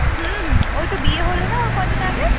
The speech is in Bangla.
হুঁ হুঁ ওই তো বিয়ে হল না ওর কয়েকদিন আগে